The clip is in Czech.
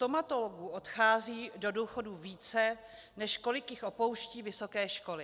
Stomatologů odchází do důchodu více, než kolik jich opouští vysoké školy.